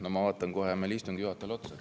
No ma vaatan kohe meie istungi juhatajale otsa.